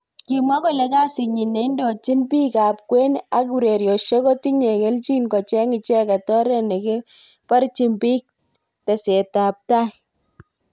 kimwa kole kasit nyi neindojin bik ab kwen ak urerosiek ko tinye keljin kocheng icheket oret nekeborji bik teset ab tai.